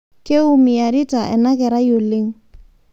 Keumiyarita anakerai oleng